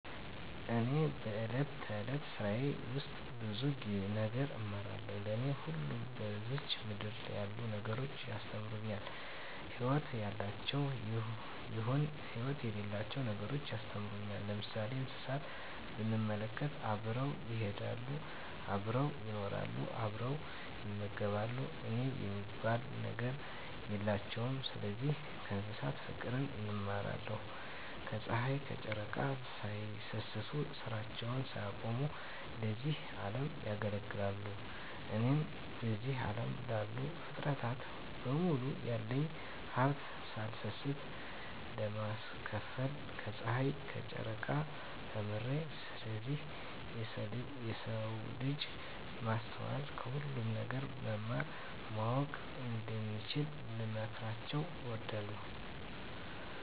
እኔ በእለት እለት ስራየ ውስጥ ብዙ ነገር እማራለሁ። ለኔ ሁሉም በዝች ምድር ያሉ ነገሮች ያስተምሩኛል ህይወት ያላቸውም ይሁን ህይወት የሌላቸው ነገሮች ያስተምሩኛል። ለምሳሌ እንስሳትን ብንመለከት አብረው ይሄዳሉ አብረው ይኖራሉ አብረው ይመገባሉ የኔ የሚባል ነገር የላቸውም ስለዚህ ከእንስሳት ፉቅርን እማራለሁ። ከጽሀይ ከጨረቃ ሳይሰስቱ ስራቸውን ሳያቆሙ ለዚህ አለም ያገለግላሉ። እኔም በዚህ አለም ላሉ ፉጥረታት በሙሉ ያለኝን ሀብት ሳልሰስት ለማካፈል ከጸሀይና ከጨረቃ ተምሬአለሁ። ስለዚህ የሰው ልጅ በማስተዋል ከሁሉም ነገር መማር ማወቅ እንደሚችሉ ልመክራቸው እወዳለሁ።